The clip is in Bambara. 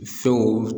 Sow